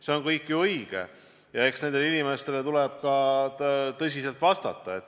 See kõik on ju õige ja eks nendele inimestele tuleb ka tõsiselt vastata.